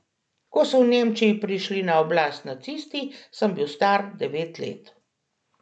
Ko so v Nemčiji prišli na oblast nacisti, sem bi star devet let.